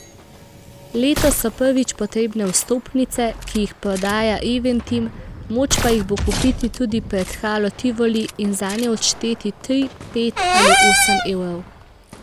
Letos so prvič potrebne vstopnice, ki jih prodaja Eventim, moč pa jih bo kupiti tudi pred Halo Tivoli in zanje odšteti tri, pet ali osem evrov.